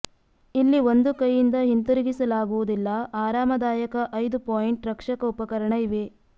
ಇಲ್ಲಿ ಒಂದು ಕೈಯಿಂದ ಹಿಂತಿರುಗಿಸಲಾಗುವುದಿಲ್ಲ ಆರಾಮದಾಯಕ ಐದು ಪಾಯಿಂಟ್ ರಕ್ಷಕ ಉಪಕರಣ ಇವೆ